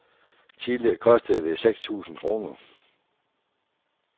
Tidligere kostede det seks tusind kroner.